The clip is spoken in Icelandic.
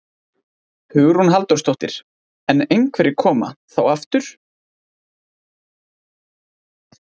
Hugrún Halldórsdóttir: En einhverjir koma. þá aftur?